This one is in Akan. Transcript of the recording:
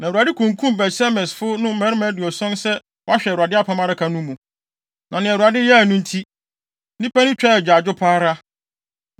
Na Awurade kunkum Bet-Semesfo no mmarima aduɔson sɛ wɔahwɛ Awurade Apam Adaka no mu. Na nea Awurade yɛe no nti, nnipa no twaa agyaadwo pa ara.